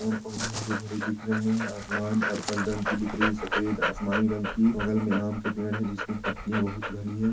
पेड़-पौधे हरे-भरे दिख रहे है और आसमान पर्पल रंग की दिख रही है सफेद आसमानी रंग की बगल में आम के पेड़ है जिसमे पत्तिया बहुत घनी है।